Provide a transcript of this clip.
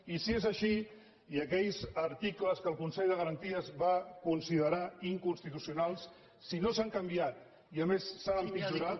i si és així i aquells articles que el consell de garanties va considerar in·constitucionals si no s’han canviat i a més s’han em·pitjorat